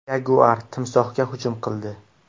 Yaguar timsohga hujum qildi.